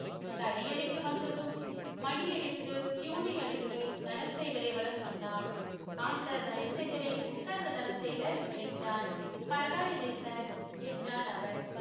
தனியறைக்கு வந்ததும் மணி அடித்து பியுனை அழைத்து தனசேகரை வர சொன்னான் அந்த தனசேகரே உட்காருங்க தனசேகர் என்றான் பரவாயில்லை சார் என்றான் அவன்